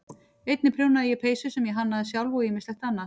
Einnig prjónaði ég peysur sem ég hannaði sjálf og ýmislegt annað.